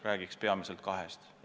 Räägin peamiselt kahest.